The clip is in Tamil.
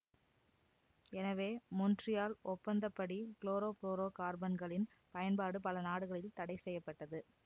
எனவே மொண்ட்ரியால் ஒப்பந்தப்படி குளோரோபுளோரோகார்பன்களின் பயன்பாடு பல நாடுகளில் தடை செய்ய பட்டது